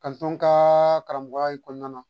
n ka karamɔgɔya in kɔnɔna na